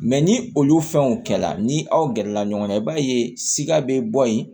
ni olu fɛnw kɛla ni aw gɛrɛla ɲɔgɔn na i b'a ye sika be bɔ yen